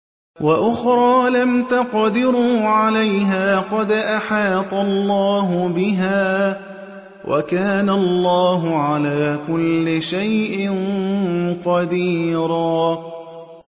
وَأُخْرَىٰ لَمْ تَقْدِرُوا عَلَيْهَا قَدْ أَحَاطَ اللَّهُ بِهَا ۚ وَكَانَ اللَّهُ عَلَىٰ كُلِّ شَيْءٍ قَدِيرًا